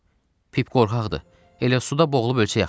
Pip qorxaqdır, elə suda boğulub ölsə yaxşıdır.